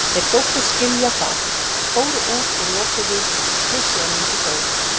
Þeir þóttust skilja það, fóru út og lokuðu, með semingi þó.